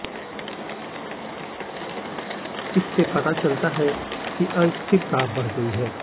इससे पता चलता है कि अस्थिरता बढ़ गई है